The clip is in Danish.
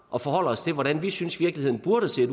og forholder os til hvordan vi synes virkeligheden burde se